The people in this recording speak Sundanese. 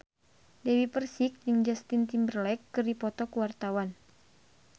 Dewi Persik jeung Justin Timberlake keur dipoto ku wartawan